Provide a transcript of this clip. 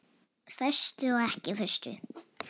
Föstu og ekki föstu.